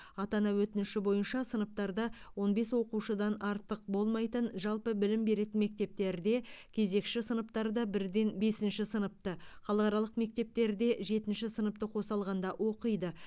ата ана өтініші бойынша сыныптарда он бес оқушыдан артық болмайтын жалпы білім беретін мектептерде кезекші сыныптарда бірден бесінші сыныпты халықаралық мектептерде жетінші сыныпты қоса алғанда оқиды